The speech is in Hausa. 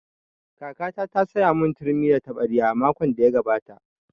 Kakata ta saya mun turmi da taɓarya makon da ya gabata